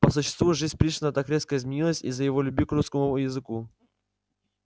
по существу жизнь пришвина так резко изменилась из-за его любви к русскому языку